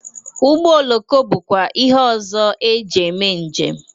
Ụgbọ oroko bụkwa ihe ọzọ ejị eme njem.